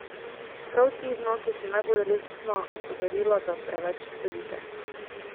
Prav ti znaki so najbolj resna opozorila, da preveč sedite.